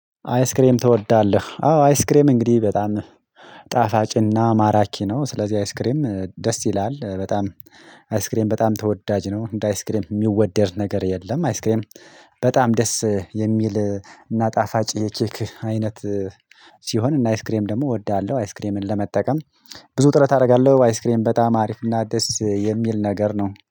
አይስክሬም ትወዳለህ? አዎ አይስክሬም እንግዲህ በጣም ጣፋጭ እና ማራኪ ነው ስለዚህ አይስክሬም እ ደስ ይላል በጣም አይስክሬም በጣም ተወዳጅ ነው። እንደ አይስክሬም የሚወደድ ነገር የለም። አይስክሬም በጣም ደስ የሚል እና ጣፋጭ የኬክ አይነት ሲሆን እና አይስክሬም ደግሞ እወዳለሁ። አይስክሬምን ለመጠቀም ብዙ ጥረት አረጋለሁ። አይስክሬም በጣም አሪፍ እና ደስ የሚል ነገር ነው